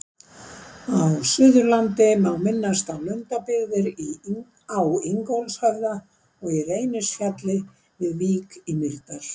Á Suðurlandi má minnast á Lundabyggðir á Ingólfshöfða og í Reynisfjalli við Vík í Mýrdal.